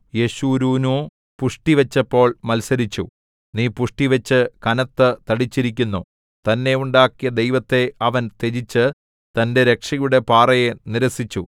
യെശുരൂനോ പുഷ്ടിവച്ചപ്പോൾ മത്സരിച്ചു നീ പുഷ്ടിവച്ച് കനത്തു തടിച്ചിരിക്കുന്നു തന്നെ ഉണ്ടാക്കിയ ദൈവത്തെ അവൻ ത്യജിച്ച് തന്റെ രക്ഷയുടെ പാറയെ നിരസിച്ചു